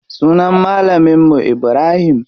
Sunan malamin mu Ibrahim.